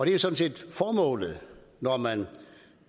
jo sådan set formålet når man